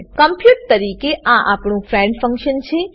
compute compute તરીકે આ આપણું ફ્રેન્ડ ફંક્શન છે